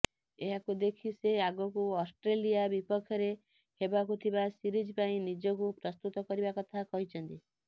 ଏହାକୁ ଦେଖି ସେ ଆଗକୁ ଅଷ୍ଟ୍ରେଲିଆ ବିପକ୍ଷରେ ହେବାକୁଥିବା ସିରିଜ ପାଇଁ ନିଜକୁ ପ୍ରସ୍ତୁତ କରିବା କଥା କହିଛନ୍ତି